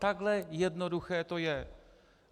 Takhle jednoduché to je.